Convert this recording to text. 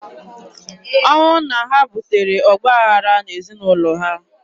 Ọnwụ nna ha butere ọgbaghara n'ezinaụlọ ha.